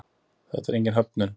Þetta er engin höfnun.